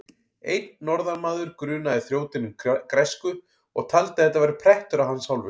Einn norðanmaður grunaði þrjótinn um græsku og taldi að þetta væri prettur af hans hálfu.